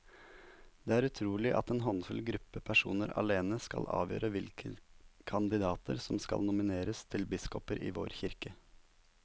Det er utrolig at en håndfull gruppe personer alene skal avgjøre hvilke kandidater som skal nomineres til biskoper i vår kirke.